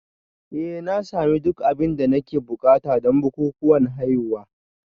Eh na sami duk abin da nake buƙata don bukukuwan haihuwa